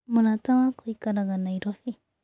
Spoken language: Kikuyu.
Mũrata wakwa aikaraga Nairobi.